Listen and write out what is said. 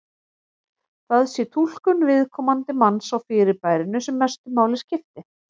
Það sé túlkun viðkomandi manns á fyrirbærinu sem mestu máli skipti.